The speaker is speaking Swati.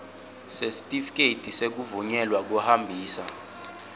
sesitifiketi sekuvunyelwa kuhambisa